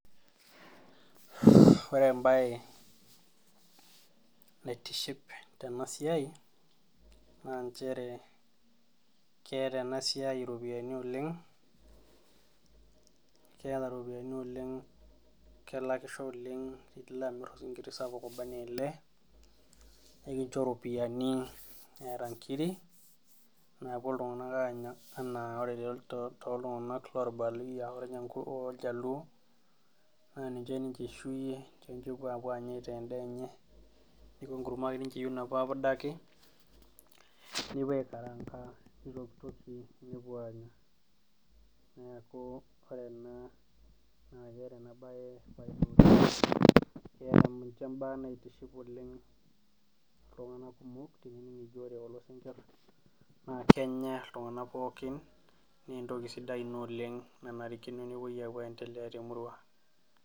Ore embaye naitiship tena baye keeta ena siai iropiyiani oleng kiata iropiyiani oleng kelakisho oleng osinkiri sapuk obanaa ele nikincho iropiyiani neeta inkirik naapuo iltung'anak aanya enaa toltung'anak loorbaluyia orjaluo naa ninye ninche eishuyie ninye epuo aitaa endaa enye neeku enkurma ake eyieu ninche napuo aapudaki nepuo aitaa endaa nepuo aanya neeku ore ena naa keeta ena baye keeta nkuti baa naitiship oleng toolkumok naa kenya iltung'anak pookin naa entoki sidai ina nanarikino nepuo apuo aendelea temurua .